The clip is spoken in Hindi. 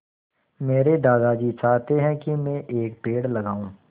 मेरे दादाजी चाहते हैँ की मै एक पेड़ लगाऊ